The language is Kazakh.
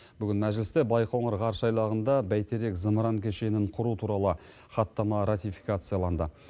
бүгін мәжілісте байқоңыр ғарыш айлағында бәйтерек зымыран кешенін құру туралы хаттама ратификацияланды